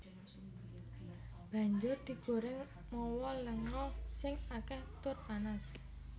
Banjur digorèng mawa lenga sing akèh tur panas